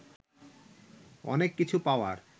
অনেক কিছু পাওয়ার